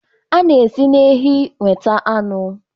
A na-esi na ehi nweta anụ